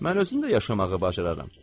Mən özüm də yaşamağı bacararam.